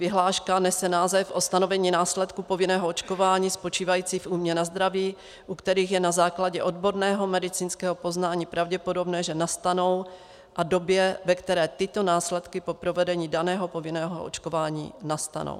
Vyhláška nese název O stanovení následků povinného očkování spočívajících v újmě na zdraví, u kterých je na základě odborného medicínského poznání pravděpodobné, že nastanou, a době, ve které tyto následky po provedení daného povinného očkování nastanou.